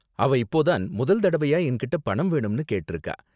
அவ இப்போ தான் முதல் தடவையா என்கிட்ட பணம் வேணும்னு கேட்டிருக்கா.